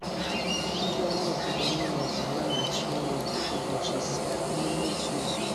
ndị ọrụ obodo na Imo ga-alaghachi ọrụ ụbọchị ise n'ime otu izu.